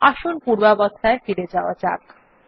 আসুন পূর্বাবস্থায় ফিরে যাওয়া যাক